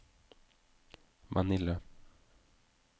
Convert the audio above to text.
Manila